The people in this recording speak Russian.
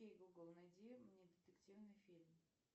окей гугл найди мне детективный фильм